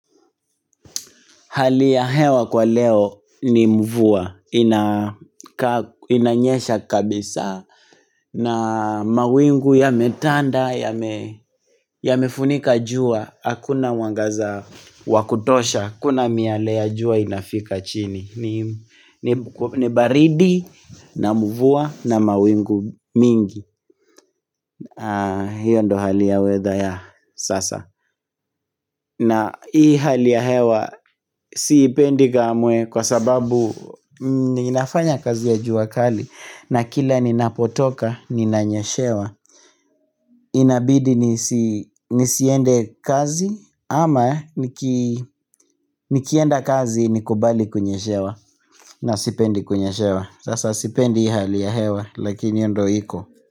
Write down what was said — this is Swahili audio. Hali ya hewa kwa leo ni mvua inanyesha kabisa na mawingu yametanda yamefunika jua Hakuna mwangaza wakutosha, hakuna miale ya jua inafika chini ni baridi na mvua na mawingu mingi hiyo ndo hali ya hewa ya sasa na hii hali ya hewa siipendi kamwe kwa sababu ninafanya kazi ya juakali na kila ninapotoka ninanyeshewa. Inabidi nisiende kazi ama nikienda kazi nikubali kunyeshewa na sipendi kunyeshewa. Sasa sipendi hii hali ya hewa lakini hiyo ndio iko.